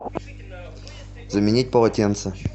заменить полотенце